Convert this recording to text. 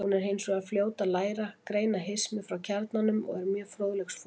Hún er hins vegar fljót að læra, greina hismið frá kjarnanum og er mjög fróðleiksfús.